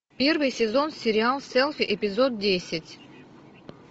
первый сезон сериал селфи эпизод десять